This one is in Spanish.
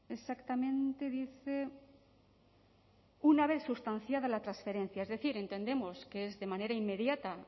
exactamente dice una vez sustanciada la transferencia es decir entendemos que es de manera inmediata